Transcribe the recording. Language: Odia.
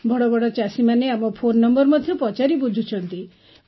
ବଡ଼ ବଡ଼ ଚାଷୀମାନେ ଆମ ଫୋନ୍ ନମ୍ବର ମଧ୍ୟ ପଚାରି ବୁଝୁଛନ୍ତି